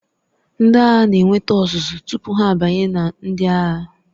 Ndị agha na-enweta ọzụzụ tupu ha abanye na ndị agha.